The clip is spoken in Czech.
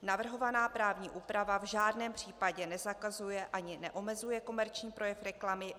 Navrhovaná právní úprava v žádném případě nezakazuje ani neomezuje komerční projev reklamy.